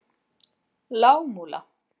Lágmúla